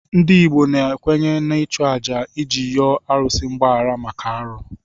Ndị Igbo kwenyere n'ịchụ àjà iji yọọ arụsị mgbaghara maka arụ.